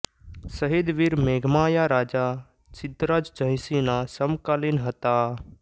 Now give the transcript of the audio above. શહીદ વીર મેઘમાયા રાજા સિદ્ધરાજ જયસિંહના સમકાલિન હતા